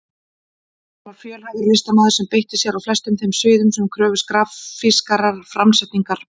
Hann var fjölhæfur listamaður sem beitti sér á flestum þeim sviðum sem kröfðust grafískrar framsetningar.